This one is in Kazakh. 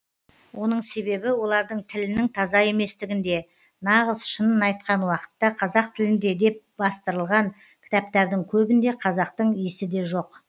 оның себебі олардың тілінің таза еместігінде нағыз шынын айтқан уақытта қазақ тілінде деп бастырылған кітаптардың көбінде қазақтың иісі де жоқ